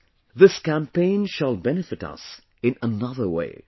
Friends, this campaign shall benefit us in another way